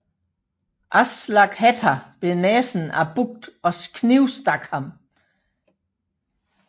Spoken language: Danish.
Aslak Hætta bed næsen af Bucht og knivstak ham